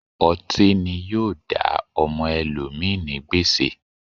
Ọti ni yoo da ọmọ ẹlomi ni gbèsè